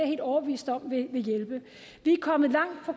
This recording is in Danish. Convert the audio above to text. helt overbevist om vil hjælpe vi er kommet langt på